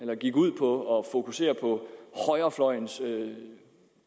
der gik ud på at fokusere på højrefløjens